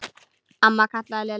Amma kallaði Lilla.